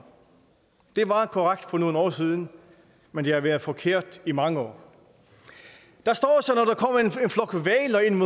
det var korrekt for nogle år siden men det har været forkert i mange år der står